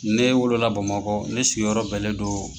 Ne wolo la Bamakɔ ne sigi yɔrɔ bɛnlen do